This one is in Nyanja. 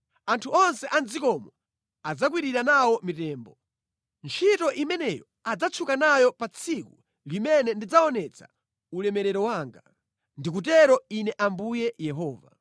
Anthu onse a mʼdzikomo adzakwirira nawo mitembo. Ntchito imeneyo adzatchuka nayo pa tsiku limene ndidzaonetsa ulemerero wanga. Ndikutero Ine Ambuye Yehova.